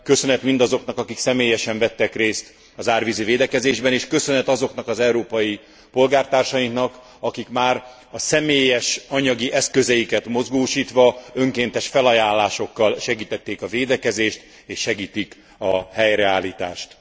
Köszönet mindazoknak, akik személyesen vettek részt az árvízi védekezésben és köszönet azoknak az európai polgártársainknak, akik már a személyes anyagi eszközeiket mozgósítva, önkéntes felajánlásokkal segítették a védekezést és segítik a helyreállítást.